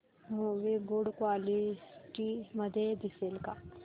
movie good quality मध्ये दिसेल का